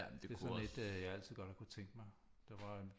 Det er sådan et jeg altid godt har kunnet tænke mig der var en